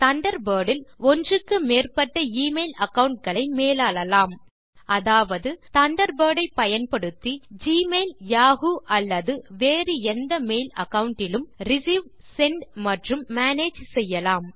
Thunderbird இல் ஒன்றுக்கு மேற்பட்ட எமெயில் அகாவுண்ட் களை மேலாளலாம் அதாவது தண்டர்பர்ட் ஐ பயன்படுத்தி ஜிமெயில் யாஹூ அல்லது வேறு எந்த மெயில் அகாவுண்ட் டிலும் ரிசீவ் செண்ட் மற்றும் மேனேஜ் செய்யலாம்